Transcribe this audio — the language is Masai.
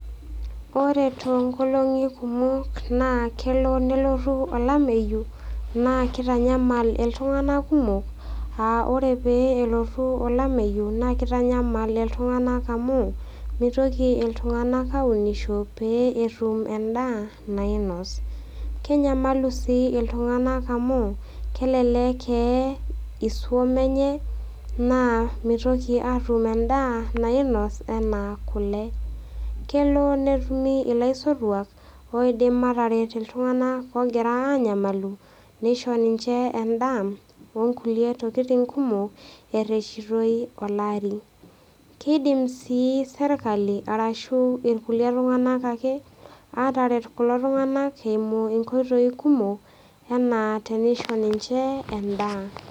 Ore too inkoolong'i kumok naa kelo nelotu olameyu naa keitanyamal iltung'ana kumok aa ore pee elotu olameyu naa keitanyamal iltung'ana amu meitoki iltung'ana aunisho pee etum endaa nainos, kenyamalu iltung'ana sii amu kelelek eye isum enye naa meitoki atum endaa nainos anaa kule. Kelo netumi olaisotuak oidim ateret iltung'ana oogira anyamalu neisho ninche endaa o kulie tokitin kumok ereshitoi naa olari. Keidim naa serkali arashu ilkulie tung'anak ake, ataret kulo tung'ana ake eimu inkoitoi kumok anaa teneisho ninche endaa.